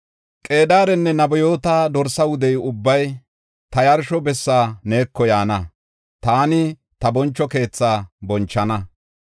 Qedaarenne Nebayoota dorsa wude ubbay, ta yarsho bessa neeko yaana; taani ta boncho keethaa bonchana.